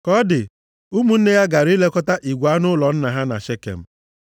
Ka ọ dị, ụmụnne ya gara ilekọta igwe anụ ụlọ nna ha na Shekem.